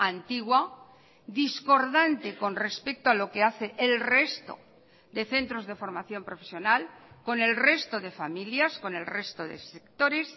antigua discordante con respecto a lo que hace el resto de centros de formación profesional con el resto de familias con el resto de sectores